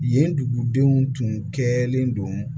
Yen dugudenw tun kɛlen don